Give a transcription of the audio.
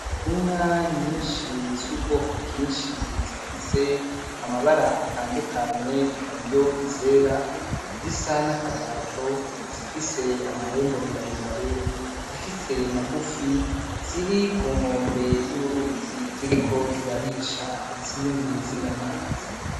Inka nyinshi z'ubwoko bwinshi zifise amabara atandukanye, hariho izera, izisa n'akagajo, izifise amahembe maremare, izifise magufi ziri ku nkombe y'uruzi ziriko zirarisha izindi zinwa amazi.